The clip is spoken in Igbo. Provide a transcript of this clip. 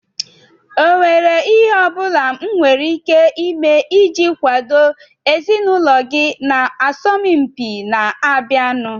Ọ nwèrè ihe ọ bụla m nwere ike ime iji kwàdo ezinụlọ gị na asọmpi na-abịanụ?